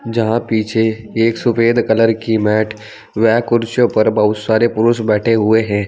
जहां पीछे एक सफेद कलर की मैट वह कुर्सियों पर बहुत सारे पुरुष बैठे हुए हैं।